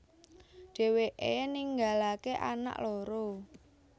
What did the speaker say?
Dheweke ninggalake anak loro